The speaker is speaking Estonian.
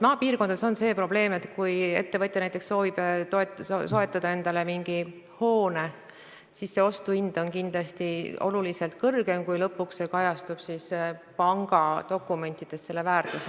Maapiirkondades on see probleem, et kui näiteks ettevõtja soovib soetada endale mingi hoone, siis selle ostuhind on kindlasti oluliselt kõrgem kui lõpuks pangadokumentides kajastuv väärtus.